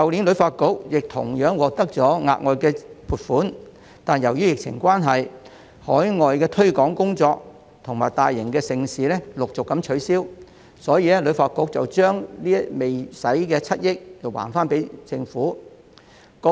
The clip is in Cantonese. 旅發局去年同樣獲得額外撥款，但由於疫情關係，海外推廣工作及大型盛事陸續取消，所以把未使用的7億元歸還政府。